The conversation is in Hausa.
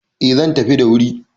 Eh zan tafi da wuri